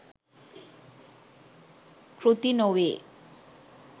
කෘති නොවේ.